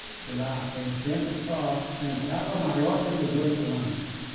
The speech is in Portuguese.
Porque lá, naquele tempo, só entrava maior de dezoito anos.